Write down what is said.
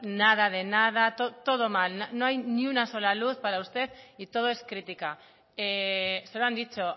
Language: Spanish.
nada de nada todo mal no hay ni una sola luz para usted y todo es crítica se lo han dicho